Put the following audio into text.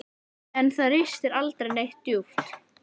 En það ristir aldrei neitt djúpt.